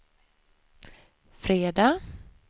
fredag